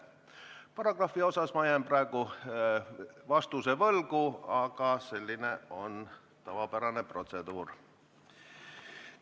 Paragrahvi kohta jään praegu vastuse võlgu, aga selline on tavapärane protseduur.